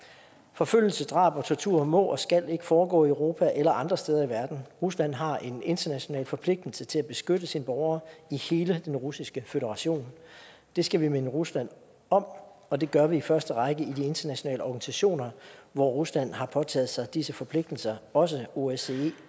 forfølgelse drab og tortur må og skal ikke foregå i europa eller andre steder i verden rusland har en international forpligtelse til at beskytte sine borgere i hele den russiske føderation det skal vi minde rusland om og det gør vi i første række i de internationale organisationer hvor rusland har påtaget sig disse forpligtelser også osce